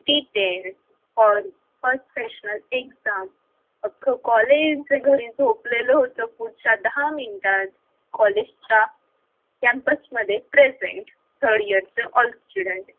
ठीक आहे first seasonal exam अख्खं college घरी झोपलेलं होत पुढच्या दहा minute त कॉलेजच्या campus मध्ये present third year चे all students